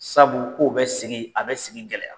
Sabu k'u bɛ segin, a bɛ sigi gɛlɛya.